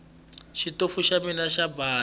xitofu xa mina xo basa